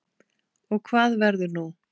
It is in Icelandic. Og hvað verður nú?